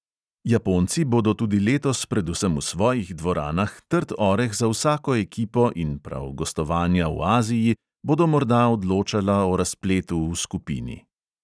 Japonci bodo tudi letos predvsem v svojih dvoranah trd oreh za vsako ekipo in prav gostovanja v aziji bodo morda odločala o razpletu v skupini.